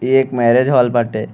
ये एक marriage hall बाटे।